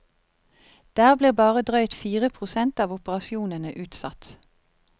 Der blir bare drøyt fire prosent av operasjonene utsatt.